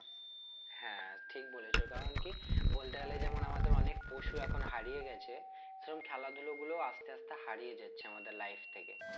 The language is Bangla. হ্যাঁ ঠিক বলেছো কারণ কি বলতে গেলে যেমন আমাদের অনেক পশু এখন হারিয়ে গেছে সেরম খেলাধুলো গুলোও আস্তে আস্তে হারিয়ে যাচ্ছে আমাদের life থেকে